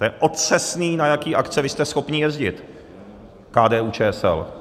To je otřesný, na jaký akce vy jste schopni jezdit, KDU-ČSL.